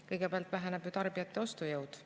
Kõigepealt väheneb ju tarbijate ostujõud.